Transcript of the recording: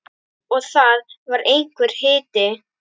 Og það var einhver hiti.